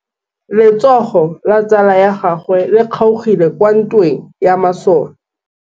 Letsôgô la tsala ya gagwe le kgaogile kwa ntweng ya masole.